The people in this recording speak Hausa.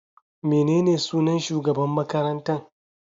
Menene sunan shugaban makarantan?